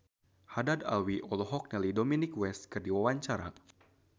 Haddad Alwi olohok ningali Dominic West keur diwawancara